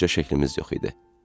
Bircə şəklimiz yox idi.